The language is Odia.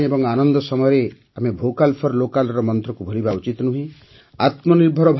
ପର୍ବପର୍ବାଣୀ ଏବଂ ଆନନ୍ଦ ସମୟରେ ଆମେ ଭୋକାଲଫର୍ଲୋକାଲ ର ମନ୍ତ୍ରକୁ ଭୁଲିବା ଉଚିତ ନୁହେଁ